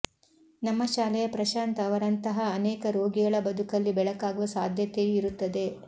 ನಮ್ಮ ಶಾಲೆಯ ಪ್ರಶಾಂತ್ ಅವರಂಥಹ ಅನೇಕ ರೋಗಿಗಳ ಬದುಕಲ್ಲಿ ಬೆಳಕಾಗುವ ಸಾಧ್ಯತೆಯೂ ಇರುತ್ತದೆ